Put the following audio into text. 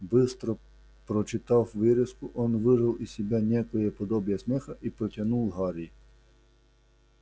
быстро прочитав вырезку он выжал из себя некое подобие смеха и протянул гарри